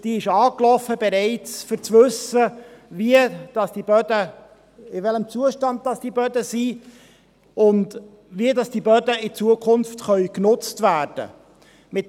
Diese ist angelaufen, um zu erfahren, in welchem Zustand sich die Böden befinden und wie diese in Zukunft genutzt werden können.